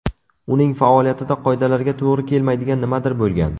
Uning faoliyatida qoidalarga to‘g‘ri kelmaydigan nimadir bo‘lgan.